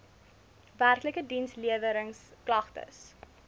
werklike diensleweringsk lagtes